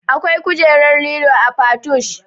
Akwai kujerar lilo a patoosh